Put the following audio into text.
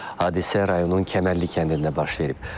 Hadisə rayonun Kəmərli kəndində baş verib.